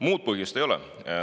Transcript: Muud põhjust ei ole.